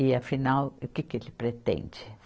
E afinal, o que que ele pretende?